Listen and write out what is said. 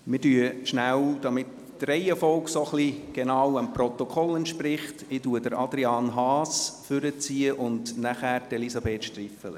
Damit die Reihenfolge genau dem Protokoll entspricht, nehme ich Adrian Haas in der Reihenfolge nach vorne, gefolgt von Elisabeth Striffeler.